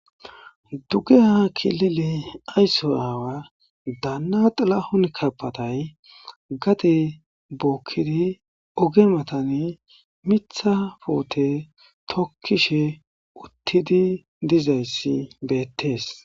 dugeha kilile aysso aawa daanna xilahun kabaday gade bookid oge matani mitha puute tokkishe uttidi dizayssi betes.